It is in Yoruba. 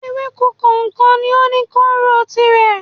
Ewéko kòòkan ni ó ní kóóró tirẹ̀